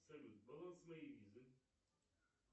салют баланс моей визы